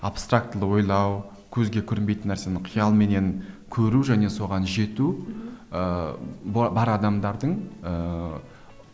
абстрактілі ойлау көзге көрінбейтін нәрсені қиялменен көру және соған жету ыыы бар адамдардың ыыы